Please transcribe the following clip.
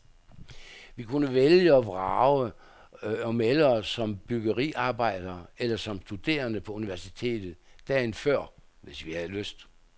Vi kunne vælge og vrage og melde os som bryggeriarbejdere eller som studerende på universitetet, dagen før, hvis vi havde lyst.